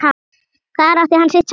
Þar átti hann sitt sæti.